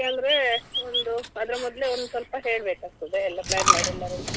ಇಪ್ಪತ್ತೊಂದಕ್ಕೆ ಅಂದ್ರೆ ಒಂದು ಅದ್ರ ಮೊದಲೇ ಒಂದು ಸ್ವಲ್ಪ ಹೇಳ್ಬೇಕಾಗ್ತದೆ ಎಲ್ಲ plan ಮಾಡಿ ಎಲ್ಲರಿಗೆ .